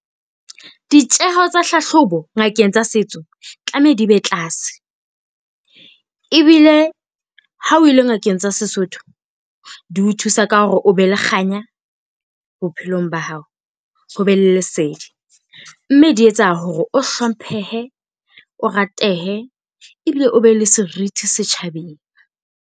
Ditjeho tsa hlahlobo ngakeng tsa setso tlameha di be tlase. Ebile ha o ile ngakeng tsa Sesotho di o thusa ka hore o be le kganya bophelong ba hao, ho be le lesedi, mme di etsa hore o hlomphehe, o ratehe ebile o be le seriti setjhabeng.